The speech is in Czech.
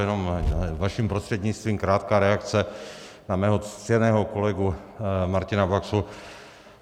Jenom vaším prostřednictvím krátká reakce na mého ctěného kolegu Martina Baxu.